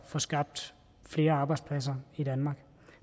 at få skabt flere arbejdspladser i danmark